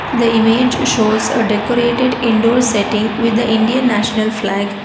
The image shows a decorated indoor setting with the indian national flag.